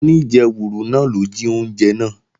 Oníjẹwùrù náà ló jí oúnjẹ náà